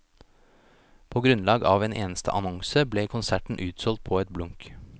På grunnlag av en eneste annonse, ble konserten utsolgt på et blunk.